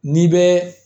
N'i bɛ